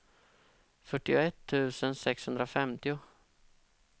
fyrtioett tusen sexhundrafemtio